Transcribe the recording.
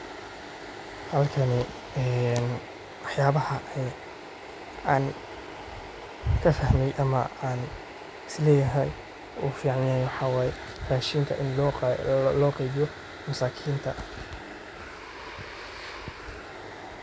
Halkani een waxyaabaha aan kafahmee ama aan isleyahay uu ficneen rashinkaa loo qeybiyo masakinta.